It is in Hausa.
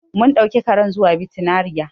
Mun ɗauki karen zuwa bitinariya.